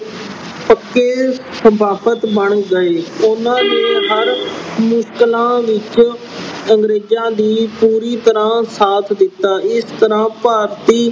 ਪੱਕੇ ਬਣ ਗਏ। ਉਹਨਾਂ ਨੇ ਹਰ ਮੁਸ਼ਕਲਾਂ ਅਹ ਵਿੱਚ ਅੰਗਰੇਜਾਂ ਦਾ ਅਹ ਪੂਰੀ ਤਰ੍ਹਾਂ ਸਾਥ ਦਿੱਤਾ। ਇਸ ਤਰ੍ਹਾਂ ਭਾਰਤੀ